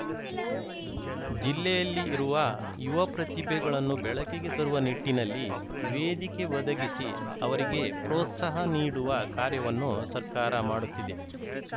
ಜಿಲ್ಲೆಯಲ್ಲಿ ಇರುವ ಯುವ ಪ್ರತಿಭೆಗಳನ್ನು ಬೆಳಕಿಗೆ ತರುವ ನಿಟ್ಟಿನಲ್ಲಿ ವೇದಿಕೆ ಒದಗಿಸಿ ಅವರಿಗೆ ಪ್ರೋತ್ಸಾಹ ನೀಡುವ ಕಾರ್ಯವನ್ನು ಸರ್ಕಾರ ಮಾಡುತ್ತಿದೆ